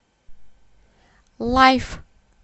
лайф